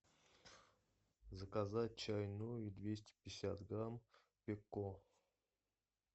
заказать чай нури двести пятьдесят грамм эко